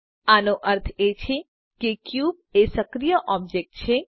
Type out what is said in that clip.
આનો અર્થ એ છે કે ક્યુબ એ સક્રિય ઑબ્જેક્ટ છે